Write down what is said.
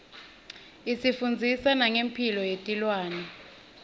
isifundzisa nangemphilo yetilwane